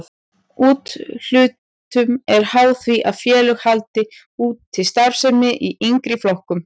Úthlutun er háð því að félög haldi úti starfsemi í yngri flokkum.